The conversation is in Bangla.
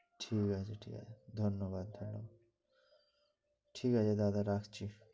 ঠিক আছে ধন্যবাদ ঠিক আছে দাদা রাখছি।